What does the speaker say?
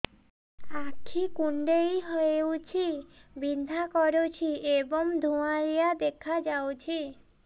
ଆଖି କୁଂଡେଇ ହେଉଛି ବିଂଧା କରୁଛି ଏବଂ ଧୁଁଆଳିଆ ଦେଖାଯାଉଛି